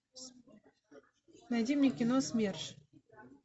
найди мне кино смерш